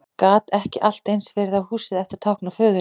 Gat ekki allt eins verið að húsið ætti að tákna föðurinn?